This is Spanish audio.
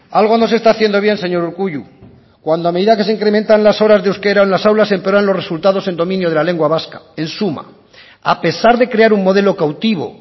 algo no se está haciendo bien señor urkullu cuando a medida que se incrementan las horas de euskera en las aulas empeoran los resultados en dominio de la lengua vasca en suma a pesar de crear un modelo cautivo